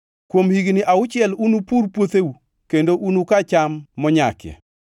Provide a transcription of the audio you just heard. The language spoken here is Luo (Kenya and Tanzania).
“Kuom higni auchiel unupur puotheu kendo unuka cham monyakie,